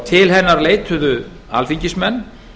til hennar leituðu alþingismenn